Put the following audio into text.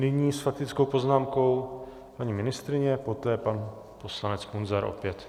Nyní s faktickou poznámkou paní ministryně, poté pan poslanec Munzar opět.